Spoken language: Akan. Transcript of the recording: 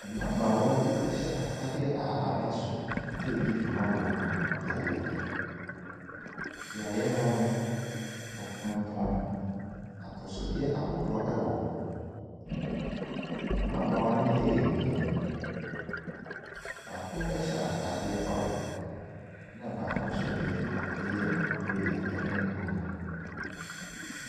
Mmabaawa bi hyɛ afadeɛ a aba so redi dwuma wɔ beaeɛ bi. Beaeɛ hɔ no, wɔtontɔn atosodeɛ ahodoɔ wɔ hɔ. Mmabaawa no yɛ mmienu. Baako hyɛ atadeɛ orange, ɛna baako nso deɛ yɛ grey no bunu.